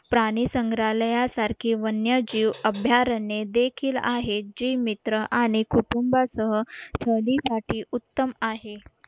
प्राणी संग्रहालयासारखी वन्यजीव अभयारण्ये देखील आहे जी मित्र आणि कुटुंबासह सहलीसाठी उत्तम आहे